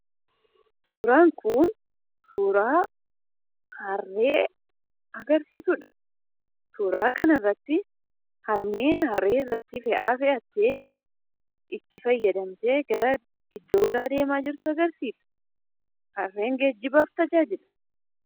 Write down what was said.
Suuraan kun suuraa harree agarsiisudha. Suuraa kana irratti harmeen harree irratti fe'aa fe'attee: itti fayyadamtee iddoo biraa deemaa jirtu agarsiisa. Harreen geejjibaaf tajaajilti.